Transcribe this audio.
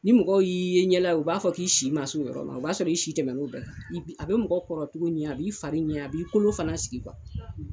Ni mɔgɔ y'i yeɲɛla ye u b'a fɔ k'i si ma se o yɔrɔ la o b'a sɔrɔ i si tɛmɛna o bɛɛ a kan a bɛ mɔgɔ kɔrɔcogo ɲɛ a b'i fari ɲɛ a b'i kolo fana sigi